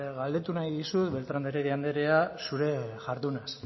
galdetu nahi dizut beltrán de heredia anderea zurea jardunaz